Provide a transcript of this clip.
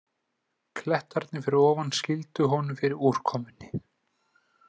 Klettarnir fyrir ofan skýldu honum fyrir úrkomunni.